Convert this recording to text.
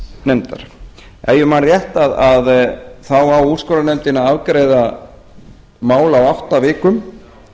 nefndar ef ég man rétt á úrskurðarnefndin að afgreiða mál á átta vikum